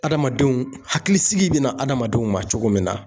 Adamadenw, hakili sigi bɛ na hadamadenw ma cogo min na.